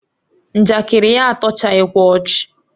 Njakịrị ya atọchaghikwa ọchị